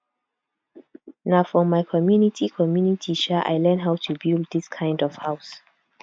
na for my community community um i learn how to build dis kind of house